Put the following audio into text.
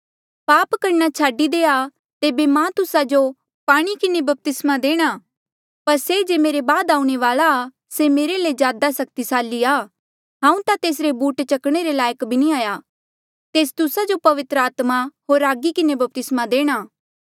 पाप करणा छाडी देआ तेबे मां तुस्सा जो पाणी किन्हें बपतिस्मा देणा पर से जे मेरे बाद आऊणें वाल्आ आ से मेरे ले भी ज्यादा सक्तिसाली आ हांऊँ ता तेसरे बूट चकणे रे लायक भी नी हाया तेस तुस्सा जो पवित्र आत्मा होर आगी किन्हें बपतिस्मा देणा